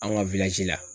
An ka la